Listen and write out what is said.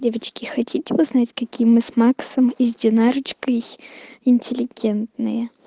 девочки хотите узнать какие мы с максом и с динарочкой интеллигентные